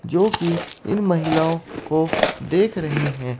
जोकि इन महिलाओं को देख रहे हैं।